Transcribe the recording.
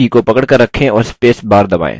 control की को पकड़कर रखें और space bar दबायें